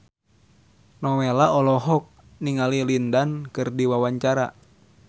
Nowela olohok ningali Lin Dan keur diwawancara